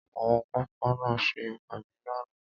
Àwọn panápaná ṣe ìpàdé lánàá.